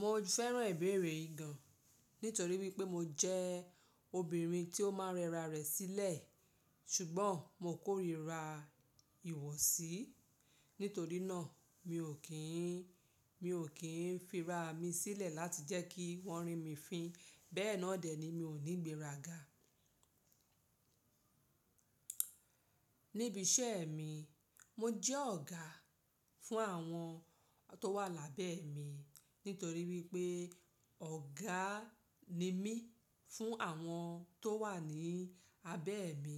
Mo fẹ́ràn ìbéèrè yì gàn nítorí wípé mo jẹ́ obìnrin tí ó máa ń rẹra rẹ̀ sílẹ̀, ṣùgbọ́n mo kórìíra ìwọsí. Nítorí náà mi ò kí ń, mi ò kí ń fi ra mi sílẹ̀ láti jẹ́ kí wọ́n rí mi fín. Bẹ́ẹ̀ náà dè ni mi ò ní gbéra ga. Níbi iṣẹ́ mi, mo jẹ́ ọ̀gá fún àwọn tó wà lábẹ́ mi, nítorí wípé ọ̀gá ni mí fún àwọn tó wà ní abẹ́ mi.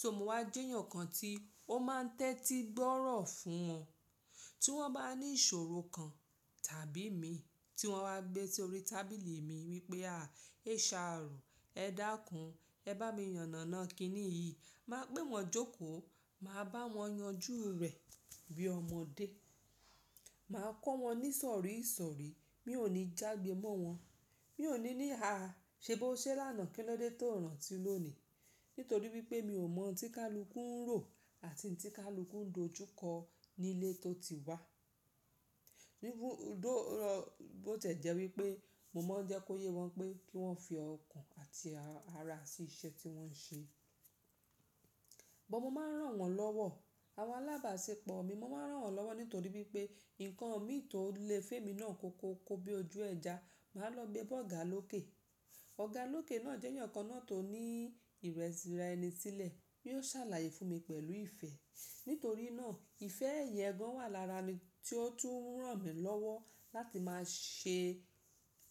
So mo wá jẹ́ ènìyàn kan tí ó máa ń tẹ́tí gbọ́rọ̀ fún wọn. Tí wọ́n bá ní ìṣòro kan tàbí mi tí wọ́n bá gbé sórí tábìlì mi wípé à, HR ẹ dákún, ẹ bá mi yànàná kíni yìí. Má pé wọn jókò, màá bá wọn yanjú rẹ̀ bí ọmọdé. Màá kọ́ wọn ní ìsọ̀rí ìsọ̀rí. Mi ò ní jagbe mọ́ wọn. Mi ò ní ní háa, ṣe bó ṣe lánàá kí ló dé tó rántí lónìí. Nítorí wípé mi ò mọ̀ tí kálukú ń rò àti tí kálukú ń dojúkọ ní ilé tó ti wá. Bó ti lè jẹ́ wípé mo máa ń jẹ́ kó yé wọn pé kí wọ́n fi ọkàn àti ara sí iṣẹ́ tí wọ́n ń ṣe. Bọ̀ mo máa ń ràn wọ́n lọ́wọ́. Àwọn alábàáṣepọ̀ mi, mo máa ń ràn wọ́n lọ́wọ́ nítorí wípé ǹkan mi tó lè fún èmi náà kọ́kọ́ kọ́ bí ojú ẹja. Màá lọ gbé bá ọ̀gá lókè. Ọ̀gá lókè náà jẹ́ èèyàn kan náà tó ní ìrẹ̀ra ẹni sílẹ̀. Yóò sàlàyé fún mi pẹ̀lú ìfẹ́. Nítorí náà ìfẹ́ yẹn gan wà lára mi tí ó tún ń ràn mí lọ́wọ́ láti máa ṣe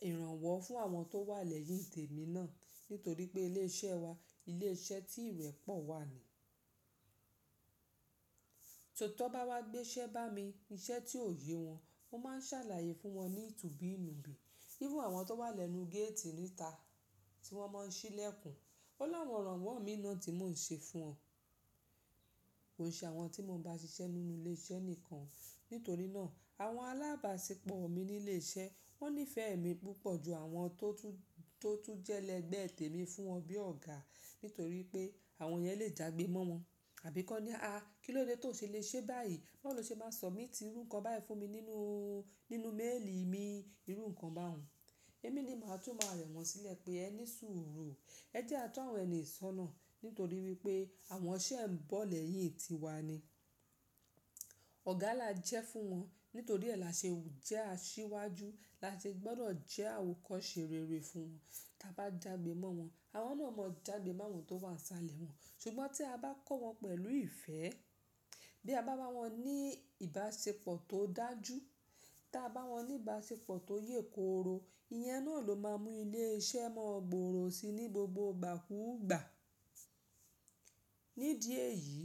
ìrànwọ́ fún àwọn tó wà lẹ́yìn tèmi náà. Nítorí pé ilé iṣẹ́ wa, ilé iṣẹ́ tí ìrẹ̀ pọ̀ wà ni. So tí wọ́n bá wá gbé iṣẹ́ bá mi, iṣẹ́ tí ò yé wọn, mo máa ń ṣàlàyé fún wọn ní tùbìí nùbí. Irù àwọn tó wà lẹ́nu géètì níta tí wọ́n máa ń ṣí lẹ́kùn. Ó láwọn ìrànwọ́ mi náà tí mò ń ṣe fún wọn. Kò ṣe àwọn tí mo bá ṣiṣẹ́ nínú ilé iṣẹ́ nìkan. Nítorí náà àwọn alábàáṣepọ̀ mi ní ilé iṣẹ́ wọ́n nífẹ̀ẹ́ mi púpọ̀ ju àwọn tó tún, tó tún jẹ́ lẹ́gbẹ̀ẹ́ tèmi fún wọn bí ọ̀gá. Nítorí pé àwọn yẹn lè jagbe mọ́ wọn. Àbí kọ́ ní, à kilódé tó ṣe le ṣe báyìí? Bọ́ lọ ṣe máa sọ míìtì irú ǹkan báyìí fún mi nínú, nínú méèlì mi irú ǹkan bá hun. Èmi ni màá tún máa rẹ wọ́n sílẹ̀ pé ẹ ní sùúrù. Ẹ jẹ́ a tó àwọn ẹni sọ́nà. Nítorí wípé àwọn ṣẹ́ ń bọ̀ lẹ́yìn tiwa ni. Ọ̀gá la jẹ́ fún wọn. Nítorí ẹ́ la ṣe jẹ́ asíwájú. La ṣe gbọ́dọ̀ jẹ́ àwòkọ́ṣe rere fún wọn. Tí a bá jagbe mọ́ wọn. Àwọn náà a mọ jagbe mọ́ wọn tó bá ń salẹ̀ wọn. Ṣùgbọ́n tí a bá kọ́ wọn pẹ̀lú ìfẹ́, bí a bá bá wọn ní ìbáṣepọ̀ tó dájú, tí a bá wọn ní ìbáṣepọ̀ tó yè kooro, ìyẹn náà ló máa mú ilé iṣẹ́ mọ́ gboro sí ní gbogbo ìgbàkúùgbà. Nídi èyí,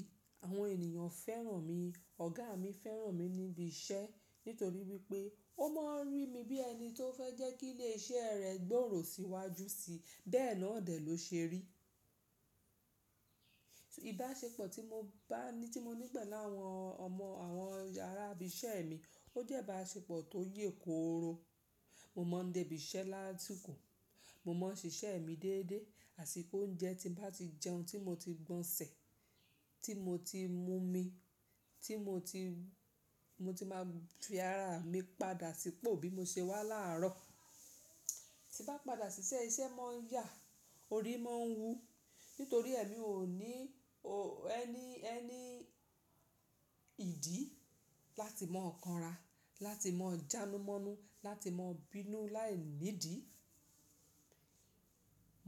àwọn ènìyàn fẹ́ràn mi. Ọ̀gá mi fẹ́ràn mi níbi iṣẹ́ nítorí wípé ó máa ń rí mi bí ẹni tó fẹ́ jẹ́ kí ilé iṣẹ́ rẹ̀ gbòòrò síwájú síi. Bẹ́ẹ̀ náà dè ló ṣe rí. Ìbáṣepọ̀ tí mo bá, tí mo ní pẹ̀lú àwọn ọmọ àwọn ará ibi iṣẹ́ mi ó jẹ́ ìbáṣepọ̀ tó yè kooro. Mo máa ń dé ibi iṣẹ́ lá sìkò. Mo máa ń ṣiṣẹ́ mi déédéé, àsìkò oúnjẹ tí bá ti jẹun tí mo ti gbọn ṣẹ̀, tí mo ti mú mi, tí mo ti, mo ti máa fi ara mi padà sípò bí mo ṣe wá láàárọ̀. Bá padà ṣiṣẹ́, iṣẹ́ máa ń yà, orí máa ń wú. Nítorí èmi ò ní, ò ẹni, ẹni ìdí láti máa ọkànra, láti máa jánumọ́nú, láti máa bínú láìnídìí.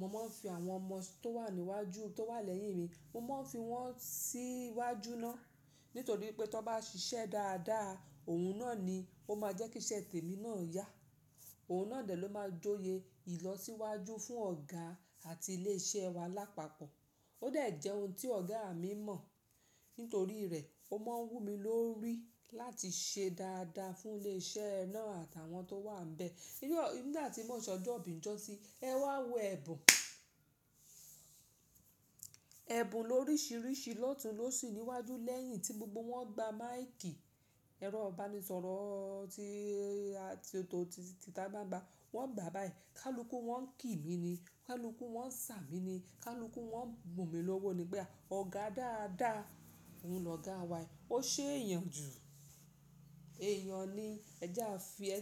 Mo máa ń fi àwọn ọmọ tó wà níwájú, tó wà lẹ́yìn mi, mo máa ń fi wọ́n sí iwájú náà. Nítorí pé tí wọ́n bá ṣiṣẹ́ dáadáa, òun náà ni ó máa jẹ́ kí iṣẹ́ tèmi náà yá. Òun náà dè ló máa jóye ìlọsíwájú fún ọ̀gá àti ilé iṣẹ́ wa lápapọ̀. Ó dé jẹ́ ohun tí ọ̀gá mi mọ̀. Nítorí rẹ̀ ó máa ń wú mi lórí láti ṣe dáadáa fún ilé iṣẹ́ náà àtàwọn tó wà níbẹ̀. Nígbà tí mo n sè ọjọ́ ibi lo''jọ́sì, ẹ wá wọ ẹ̀bùn. Ẹ̀bùn lórísìírísìí ló tún ló sì níwájú lẹ́yìn tí gbogbo wọn gbá máàikì ẹ̀rọ baníṣọ̀rọ̀ títa bá ń gba, wọ́n gbà báyìí. Kálúkú wọ́n ń kí mi ni, kálúkú wọ́n ń ṣà mí ni, kálúkú wọ́n ń bu òmi lówó nígbà. Ọ̀gá dáadáa, òun lọ̀gá wa yìí. Ó ṣe é yàn ju èèyàn ní ẹja fi ẹ̀.